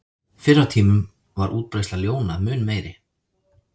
Fyrr á tímum var útbreiðsla ljóna mun meiri.